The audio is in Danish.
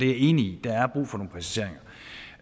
er enig i